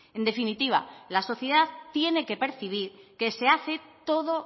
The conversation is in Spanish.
en definitiva la sociedad tiene que percibir que se hace todo